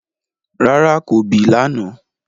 Rárá, ko bì lànà